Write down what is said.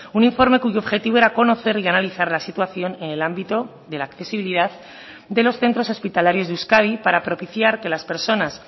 un informe cuyo objetivo era conocer y analizar la situación en el ámbito de la accesibilidad de los centros hospitalarios de euskadi para propiciar que las personas